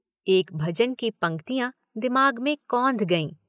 एक भजन की पंक्तियां दिमाग में कौंध गईं।